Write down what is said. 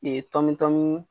Nin ye tɔmtɔm.